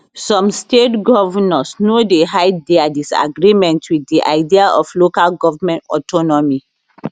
some state govnors no dey hide dia disagreement wit di idea of local goment autonomy